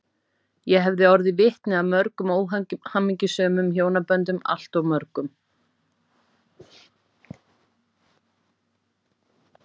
Ég hef orðið vitni að mörgum óhamingjusömum hjónaböndum, alltof mörgum.